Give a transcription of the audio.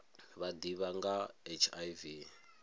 vha ḓivha nga ha hiv